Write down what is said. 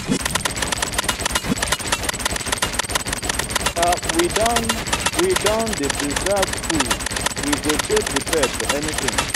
we don we don dey preserve food we go dey prepared for anytin.